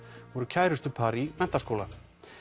voru kærustupar í Menntaskóla